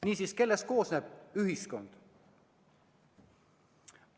Niisiis, kellest koosneb ühiskond?